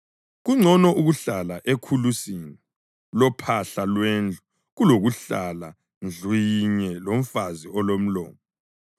Kungcono ukuhlala ekhulusini lophahla lwendlu kulokuhlala ndlu yinye lomfazi olomlomo.